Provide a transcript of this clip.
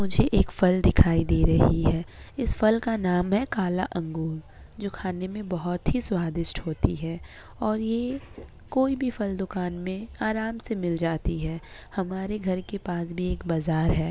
मुझे एक फल दिखाई दे रही है इस फल का नाम है काला अंगूर जो खाने में बहुत ही स्वादिष्ट होती है और यह कोई भी फल दुकान में आराम से मिल जाती है। हमारे घर के पास भी एक बाजार है।